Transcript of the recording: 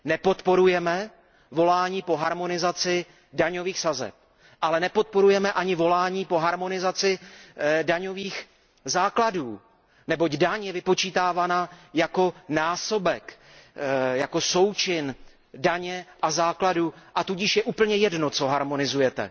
Nepodporujeme volání po harmonizaci daňových sazeb, ale nepodporujeme ani volání po harmonizaci daňových základů, neboť daň je vypočítávána jako násobek, jako součin daně a základu, a tudíž je úplně jedno, co harmonizujete.